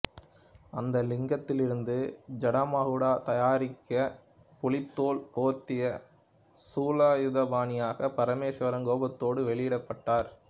அந்த லிங்கத்தில் இருந்து ஜடாமகுட தாரியாக புலித்தோல் போர்த்திய சூலாயுதபாணியாக பரமேஸ்வரன் கோபத்தோடு வெளிப்பட்டார்